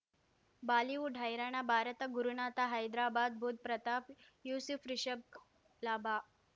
Bollywood ಹೈರಾಣ ಭಾರತ ಗುರುನಾಥ ಹೈದ್ರಾಬಾದ್ ಬುಧ್ ಪ್ರತಾಪ್ ಯೂಸುಫ್ ರಿಷಬ್ ಲಾಭ